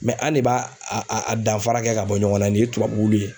an ne ba a a danfara kɛ ka bɔ ɲɔgɔn na nin ye tubabuwulu ye.